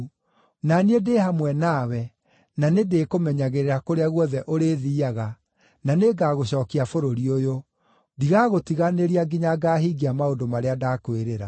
Na niĩ ndĩ hamwe nawe, na nĩndĩkũmenyagĩrĩra kũrĩa guothe ũrĩthiiaga, na nĩngagũcookia bũrũri ũyũ. Ndigagũtiganĩria nginya ngaahingia maũndũ marĩa ndakwĩrĩra.”